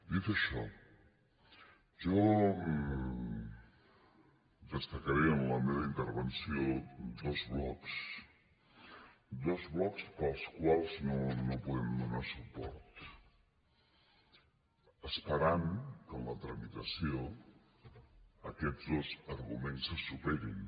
dit això jo destacaré en la meva intervenció dos blocs dos blocs pels quals no hi podem donar suport esperant que en la tramitació aquests dos arguments se superin